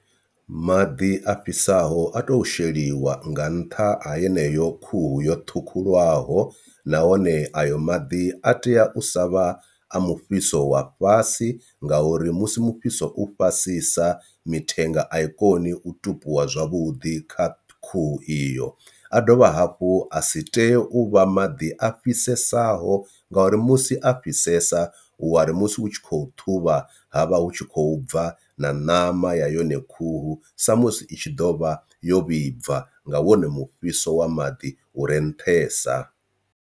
Maḓi a fhisaho a tou sheliwa nga nṱha ha yeneyo khuhu yo ṱhukhulwaho nahone ayo maḓi a tea u sa vha a mufhiso wa fhasi ngauri musi mufhiso u fhasisa mithenga a i koni u tupuwa zwavhuḓi kha khuhu iyo, a dovha hafhu a si tei u vha maḓi a fhisesa ho ngauri musi a fhisesa u wari musi u tshi khou ṱhuvha ha vha hu tshi khou bva na ṋama ya yone khuhu sa musi i tshi ḓo vha yo vhibva nga wone mufhiso wa maḓi u re nṱhesa.